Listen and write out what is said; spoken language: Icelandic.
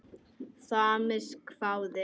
Thomas hváði.